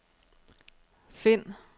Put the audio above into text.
find